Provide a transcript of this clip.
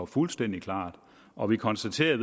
fuldstændig klar og vi konstaterer